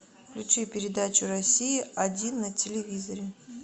включи передачу россия один на телевизоре